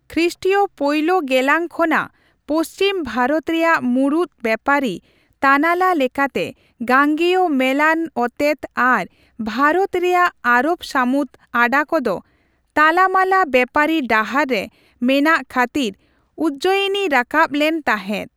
ᱠᱷᱨᱤᱥᱴᱤᱭᱚ ᱯᱳᱭᱞᱳ ᱜᱮᱞᱟᱝ ᱠᱷᱚᱱᱟᱜ ᱯᱚᱪᱷᱤᱢ ᱵᱷᱟᱨᱚᱛ ᱨᱮᱭᱟᱜ ᱢᱩᱬᱩᱫ ᱵᱮᱯᱟᱨᱤ ᱛᱟᱱᱟᱞᱟ ᱞᱮᱠᱟᱛᱮ ᱜᱟᱝᱜᱮᱭᱚ ᱢᱮᱞᱟᱱ ᱚᱛᱮᱛ ᱟᱨ ᱵᱷᱟᱨᱚᱛ ᱨᱮᱭᱟᱜ ᱟᱨᱚᱵᱽ ᱥᱟᱹᱢᱩᱫ ᱟᱰᱟ ᱠᱚᱫᱚ ᱛᱟᱞᱟᱢᱟᱞᱟ ᱵᱮᱯᱟᱨᱤ ᱰᱟᱦᱟᱨ ᱨᱮ ᱢᱮᱱᱟᱜᱼᱠᱷᱟᱹᱛᱤᱨ ᱩᱡᱽᱡᱚᱭᱤᱱᱤ ᱨᱟᱠᱟᱵ ᱞᱮᱱ ᱛᱟᱦᱮᱸᱫ ᱾